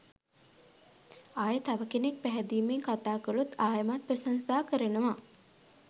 ආයේ තව කෙනෙක් පැහැදීමෙන් කතා කළොත් ආයෙමත් ප්‍රශංසා කරනවා.